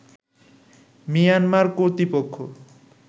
Myanmar কর্তৃপক্ষ